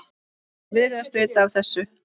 Þeir virðast vita af þessu.